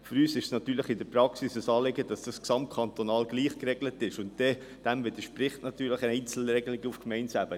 Für uns ist es in der Praxis ein Anliegen, dass das gesamtkantonal gleich geregelt ist, und dem widersprechen natürlich Einzelregelungen auf Gemeindeebene.